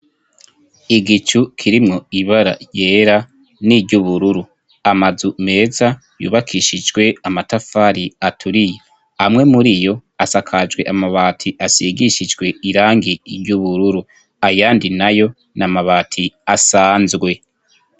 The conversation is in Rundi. Igicu kirimwo ibara ryera n'iryubururu, amazu meza yubakishijwe amatafari aturiye amwe muriyo asakajwe amabati asigishijwe irangi ry'ubururu, ayandi nayo n'amabati asanzwe.